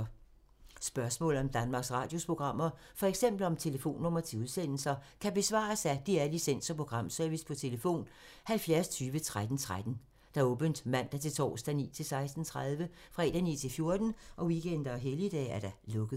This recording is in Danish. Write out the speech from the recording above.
Spørgsmål om Danmarks Radios programmer, f.eks. om telefonnumre til udsendelser, kan besvares af DR Licens- og Programservice: tlf. 70 20 13 13, åbent mandag-torsdag 9.00-16.30, fredag 9.00-14.00, weekender og helligdage: lukket.